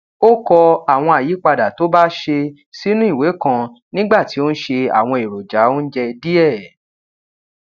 ó kọ àwọn àyípadà tó bá ṣe sínú ìwé kan nígbà tí ó ń se àwọn èròjà oúnjẹ díẹ